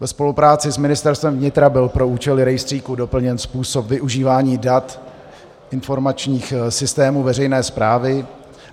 Ve spolupráci s Ministerstvem vnitra byl pro účely rejstříku doplněn způsob využívání dat informačních systémů veřejné správy.